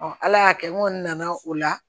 ala y'a kɛ n kɔni nana o la